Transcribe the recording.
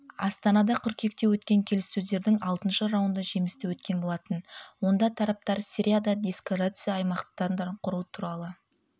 астанада қыркүйекте өткен келіссөздердің алтыншы раунды жемісті өткен болатын онда тараптар сирияда деэскалация аймақтарын құру туралы